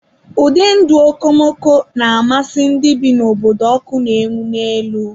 Ụdị ndụ okomoko na-amasị ndị bi n'obodo ọkụ na-enwu n'elu.